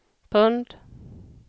pund